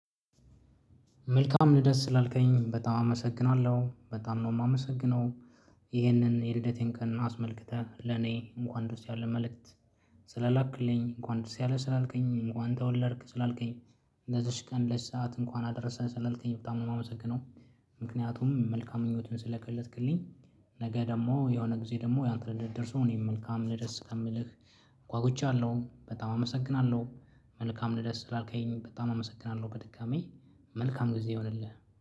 መልካም ልደት ስላልከኝ በጣም አመሰግናለሁ በጣም ነው የማመሰግነው። ይህንን የልደቴን ቀን አስመልክተህ ለኔ እንኳን ደስ ያለ መልእክት። ስላላክልኝ እንኳን ደስ ያለ ስላልከኝ እንኳን ተወለድክ ስላልከኝ። ለዚች ቀን ለዚች ሰዓት እንኳን አደረሰህ ስላልከኝ በጣም ነው የማመሰግነው። ምክንያቱም መልካም ምኞትን ስለገለፅክልኝ። ነገ ደግሞ የሆነ ጊዜ ደግሞ ያንተን ልደት ደርሶ እኔም መልካም ልደት እስከምልህ። ጎአጉቻለው አለው በጣም አመሰግናለሁ። መልካም ልደስ ስላልከኝ በጣም አመሰግናለሁ። በድጋሚ መልካም ጊዜ ይሁንልህ።